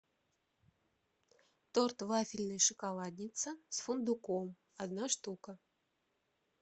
торт вафельный шоколадница с фундуком одна штука